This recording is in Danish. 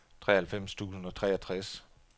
treoghalvfems tusind og treogtres